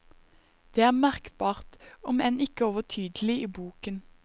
Det er merkbart, om enn ikke overtydelig i boken.